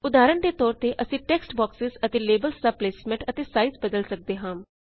ਉਦਾਹਰਣ ਦੇ ਤੌਰ ਤੇ ਅਸੀਂ ਟੇਕਸਟ ਬੌਕਸੇਜ਼ ਅਤੇ ਲੇਬਲਸ ਦਾ ਪਲੇਸਮੇੰਟ ਅਤੇ ਸਾਇਜ਼ ਬਦਲ ਸਕਦੇ ਹਾਂ